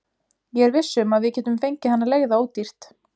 Ég er viss um að við getum fengið hana leigða ódýrt.